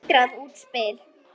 Eitrað útspil.